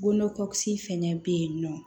Fɛnɛ bɛ yen nɔ